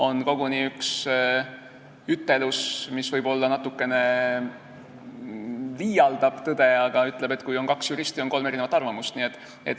On koguni üks ütlus, mis võib-olla natuke liialdab, aga öeldakse, et kui on kaks juristi, siis on kolm arvamust.